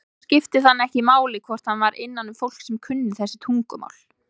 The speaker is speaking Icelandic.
Þá skipti það hann ekki máli hvort hann var innanum fólk sem kunni þessi tungumál.